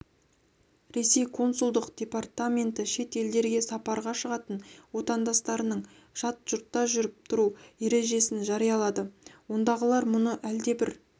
ресей консулдық департаменті шет елдерге сапарға шығатын отандастарының жат жұртта жүріп-тұру ережесін жариялады ондағылар мұны әлдебір